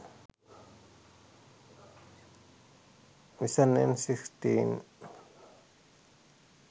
nissan n16